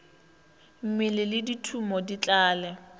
mmele le thumo di tlale